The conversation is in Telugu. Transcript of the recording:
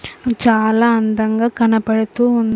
చాలా అందంగా కనపడుతూ ఉం--